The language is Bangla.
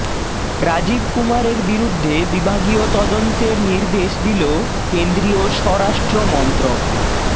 রাজীব কুমারের বিরুদ্ধে বিভাগীয় তদন্তের নির্দেশ দিল কেন্দ্রীয় স্বরাষ্ট্রমন্ত্রক